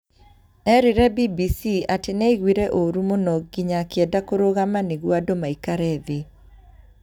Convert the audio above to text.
Erire BBC ati nĩ aiguire ũũru mũno nginya akĩenda kũrũgama nĩguo andũ maikare thĩ.